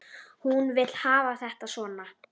Hún vill hafa þetta svona.